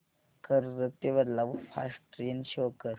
कर्जत ते Badlapur fast train show कर